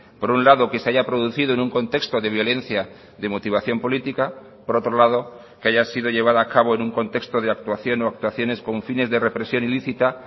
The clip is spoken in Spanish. por un lado que se haya producido en un contexto de violencia de motivación política por otro lado que haya sido llevada a cabo en un contexto de actuación o actuaciones con fines de represión ilícita